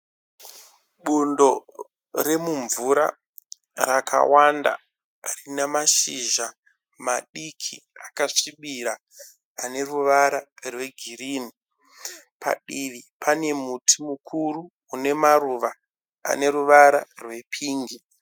Bundo remumvura rakawanda rina mashizha madiki rakasvibira. Ane ruvara rwegirini. Padivi pane muti mukuru une maruva ane ruvara rwepingi.